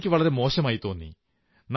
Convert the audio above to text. എനിക്കു വളരെ മോശമായി തോന്നി